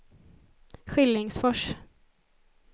Skillingsfors